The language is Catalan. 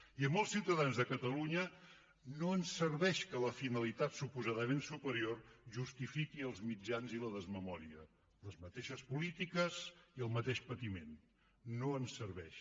i a molts ciutadans de catalunya no ens serveix que la finalitat suposadament superior justifiqui els mitjans i la desmemòria les mateixes polítiques i el mateix patiment no ens serveix